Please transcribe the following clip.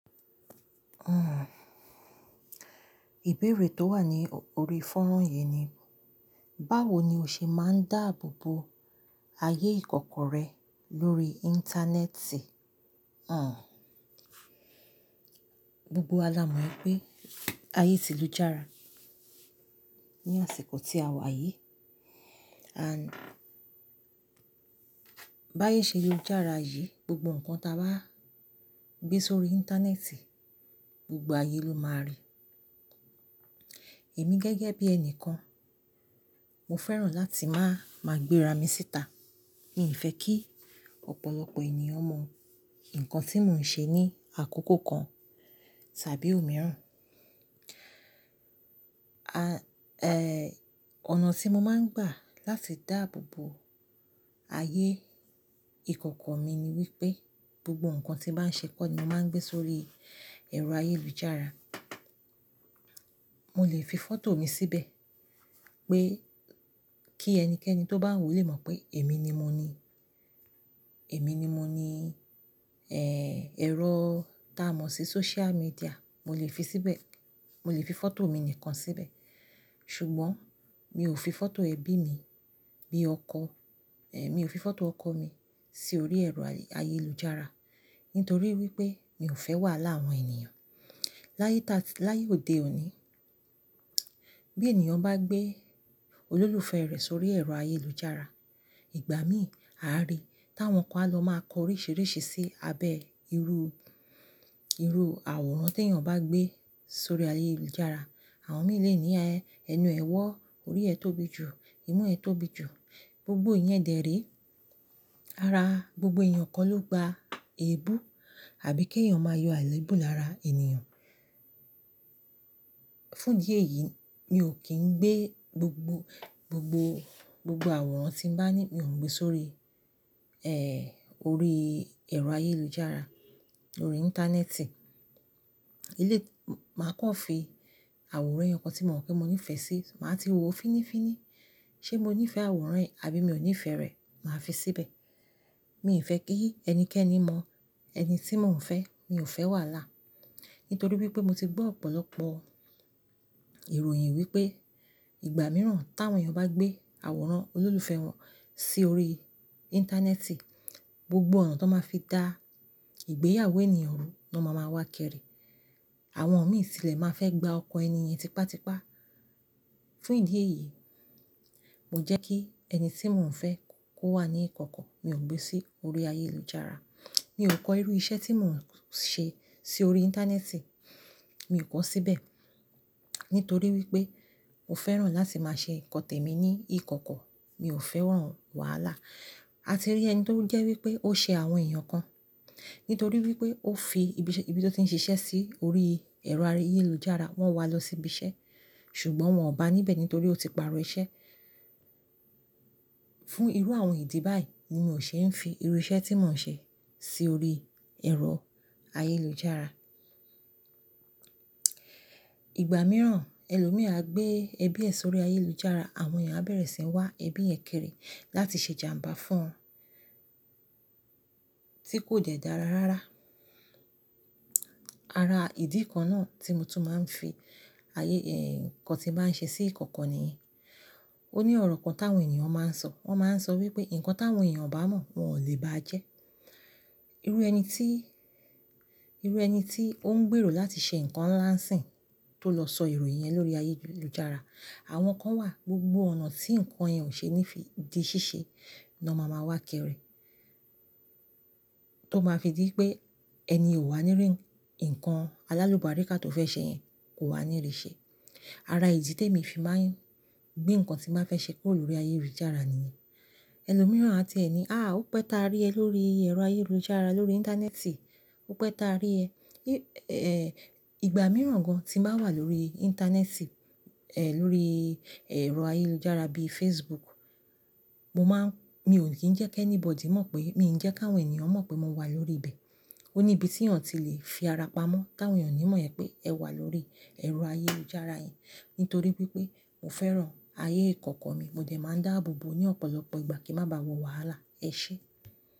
Ìbéèrè tó wà ní orí fọ́rọ̀ yìí ni, báwo ni o ṣe máa ń dáàbò bo ayé ìkọ̀kọ̀ rẹ lórí Íńtánẹ́ẹ̀tì? Gbogbo wa là mọ̀ pé ayé ti lújára ní àsìkò tí a wà yìí. Àń, bá yé ṣe lújára yìí, gbogbo nǹkan tí a bá gbé sórí Íńtánẹ́ẹ̀tì, gbogbo ayé ló máa rí. Èmi gẹ́gẹ́ bí ẹni kan, mo fẹ́ràn láti máa, máa gbé ara mi síta. Mi fẹ́ kí ọ̀pọ̀lọpọ̀ ènìyàn mọ nǹkan tí mò ń ṣe ní àkókò kan tàbí òmíràn. Ọ̀nà tí mo máa ń gbà láti dáàbò bo ayé ìkọ̀kọ̀ mi ni wípé gbogbo nǹkan tí màá ń ṣe kọ́ ni mo máa ń gbé sórí ẹ̀rọ ayélujára. Mo lè fi fọ́tò mi síbẹ̀ pé kí ẹnikẹ́ni tó bá wòó lè mọ̀ pé èmi ni mo ni, èmi ni mo ni. Ẹ̀rọ ta mọ̀ sí sóṣíà míḍíà, mo lè fi síbẹ̀, mo lè fi fọ́tò mi nìkan síbẹ̀. Ṣùgbọ́n mi ò fi fọ́tò ẹbí mi bí ọkọ, mi ò fi fọ́tò ọkọ mi sí orí ẹ̀rọ ayélujára nítorí wípé mi ò fẹ́ wàhálà àwọn ènìyàn. Láyé ta, láyé òde òní, bí ènìyàn bá gbé olólùfẹ́ rẹ̀ sórí ẹ̀rọ ayélujára, ìgbà míì a rí táwọn kan á lọ máa kọ oríṣìíríṣìí sí abẹ́ irú, irú àwòrán tí ènìyàn bá gbé sórí ayélujára. Àwọn mìí lè ní, "Ẹ̀nu ẹ wọ́, orí ẹ tóbi jù, imú ẹ tóbi jù." Gbogbo ìyẹn dẹrè. Ara gbogbo èyàn kọ́ ló gba èébú àbí kí èyàn máa yọ àléébù lára ènìyàn. Fún ìdí èyí, mi ò kín gbé gbogbo, gbogbo, gbogbo àwòrán tí ń bá ní, mi ò ń gbé sórí, orí ẹ̀rọ ayélujára, lórí Íńtánẹ́ẹ̀tì. Màá kọ́ fi àwòrán ẹyo kan tí mò mọ̀ pé mo nífẹ̀ẹ́ sí, màá ti wo ò finífiní. Ṣé mo nífẹ̀ẹ́ àwòrán ẹ̀ àbí mi ò nífẹ̀ẹ́ rẹ̀? Màá fi síbẹ̀. Mi ò fẹ́ kí ẹnikẹ́ni mọ ẹni tí mò ń fẹ́, mi ò fẹ́ wàhálà. Nítorí wípé mo ti gbọ́ ọ̀pọ̀lọpọ̀ ìròyìn wípé ìgbà mìíràn táwọn èyàn bá gbé àwòrán olólùfẹ́ wọn sí orí Íńtánẹ́ẹ̀tì, gbogbo ọ̀nà tó máa fi dá ìgbéyàwó ènìyàn rú ló má máa wá kìrì. Àwọn mìí tì lè máa fẹ́ gba ọkọ ẹni yẹn tipátipá. Fún ìdí èyí, mo jẹ́ kí ẹni tí mò ń fẹ́ kó wà ní ìkọ̀kọ̀, mi ò gbé sí orí ayélujára. Mi ò kọ irú iṣẹ́ tí mò ń ṣe sí orí Íńtánẹ́ẹ̀tì, mi ò kọ síbẹ̀ nítorí wípé mo fẹ́ràn láti máa ṣe nǹkan tèmi ní ìkọ̀kọ̀, mi ò fẹ́ràn wàhálà. A ti rí ẹni tó ń jẹ́ wípé ó ṣe àwọn èèyàn kan nítorí wípé ó fi ibi tí ó ti ń ṣiṣẹ́ sí orí ẹ̀rọ ayélujára, wọ́n wá lọ sí ibi iṣẹ́ ṣùgbọ́n wọn ò bá níbẹ̀ nítorí ó ti pàrọ̀ iṣẹ́. Fún irú àwọn ìdí báyìí ni mò ń ṣe ń fi irú iṣẹ́ tí mò ń ṣe sí orí ẹ̀rọ ayélujára. Ìgbà mìíràn ẹlòmí á gbé ẹbí ẹ sórí ayélujára, àwọn èèyàn á bẹ̀rẹ̀ sí ń wá ẹbí yẹn kiri láti ṣe jàmbá fún tí kò dẹ́ dára rárá. Ara ìdí kan náà tí mo tún máa ń fi ayé, nǹkan tí màá ń ṣe sí ìkọ̀kọ̀ nìyí. Ó ní ọ̀rọ̀ kan táwọn ènìyàn máa ń sọ. Wọ́n máa ń sọ wípé, "Nǹkan táwọn èèyàn ó bá mọ̀ wọn ò lè ba á jẹ́." Irú ẹni tí, irú ẹni tí ó ń gbèrò láti ṣe nǹkan ń lá ǹ sìn tó lọ sọ ìròyìn yẹn lórí ayélujára, àwọn kan wà gbogbo ọ̀nà tí nǹkan yẹn ò ṣe ní fi di ṣíṣe ló máa wá kiri tó máa fi dí pé ẹni yen ó wà nírí, nǹkan alálùbáríkà tó fẹ́ ṣe yẹn kò wà nírí ṣe. Ara ìdí tèmi fi máa ń gbé nǹkan tí màá fẹ́ ṣe kúrò lórí ayélujára nìyí. Ẹlòmíràn á tí ẹ ní, "Àá, ó pẹ́ ta rí ẹ lórí ẹ̀rọ ayélujára, lórí Íńtánẹ́ẹ̀tì? Ó pẹ́ ta rí ẹ?" ìgbà mìíràn gan tí bà wà lórí Íńtánẹ́ẹ̀tì, lórí ẹ̀rọ ayélujára bíi Facebook, mo máa ń, mi ò kí ń jẹ́ kí anybody mọ̀ pé, mi ò ń jẹ́ kí àwọn ènìyàn mọ̀ pé mo wà lórí ibẹ̀. Ó ní ibi tí èèyàn ti lè fi ara pamọ́ táwọn èèyàn ó ní mọ̀ ẹ pé ẹ wà lórí ẹ̀rọ ayélujára yẹn. Nítorí wípé mo fẹ́ràn ayé ìkọ̀kọ̀ mi, mo jẹ̀ máa ń dáàbò bo ní ọ̀pọ̀lọpọ̀ ìgbà kí ń má ba à wọ wàhálà. Ẹ ṣé.